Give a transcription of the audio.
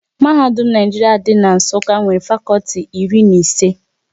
Mahadum Naijiria dị n'Nsukka nwere fakọlti iri na ise